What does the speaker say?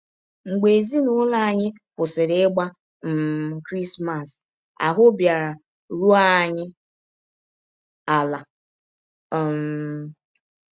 Mgbe ezinụlọ anyị kwụsịrị ịgba um Krismas, ahụ́ bịara rụọ anyị ala! ” um